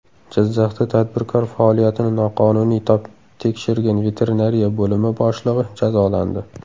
Jizzaxda tadbirkor faoliyatini noqonuniy tekshirgan veterinariya bo‘limi boshlig‘i jazolandi.